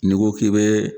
N'i ko k'i bɛ